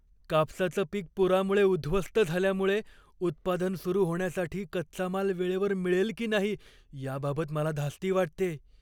कापसाचं पीक पुरामुळे उद्ध्वस्त झाल्यामुळे उत्पादन सुरू होण्यासाठी कच्चा माल वेळेवर मिळेल की नाही याबाबत मला धास्ती वाटतेय.